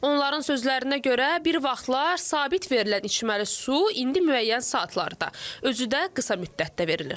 Onların sözlərinə görə bir vaxtlar sabit verilən içməli su indi müəyyən saatlarda, özü də qısa müddətdə verilir.